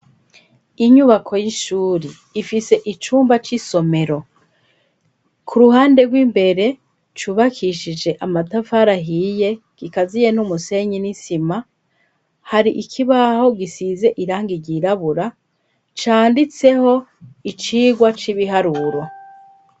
Inyubako y'ishuri ifise icumba c'isomero ku ruhande rw'imbere cubakishije amatafari ahiye gikaziye n'umusenyi n'isima, hari ikibaho gisize irangi ryirabura canditseho icigwa c'ibiharuro.